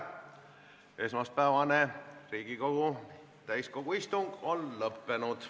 Esmaspäevane Riigikogu täiskogu istung on lõppenud.